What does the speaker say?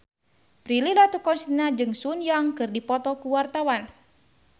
Prilly Latuconsina jeung Sun Yang keur dipoto ku wartawan